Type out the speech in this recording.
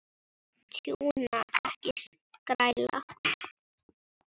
Tjúna, ekki skræla.